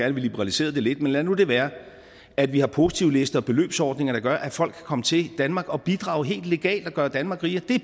at vi liberaliserede det lidt men lad nu det være at vi har positivlister og beløbsordninger der gør at folk kan komme til danmark og bidrage helt legalt og gøre danmark rigere